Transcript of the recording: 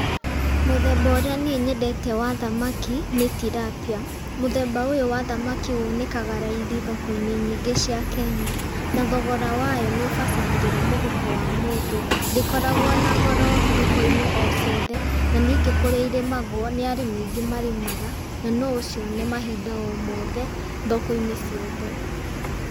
Mũthemba ũrĩa niĩ nyendete wa thamaki nĩ Tilapia, mũthemba ũyũ wa thamaki wonekaga raithi thoko-inĩ nyingĩ cia Kenya, na thogora wayo nĩ ũbacagĩrĩra mũhuko wa mũndũ, ndĩkoragwo na goro thokoinĩ o ciothe, na ningĩ kũrĩa irĩmagwo nĩ arĩmi aingĩ marĩmaga, na no ũcione mahinda-inĩ o mothe, thokoinĩ o ciothe.